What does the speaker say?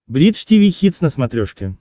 бридж тиви хитс на смотрешке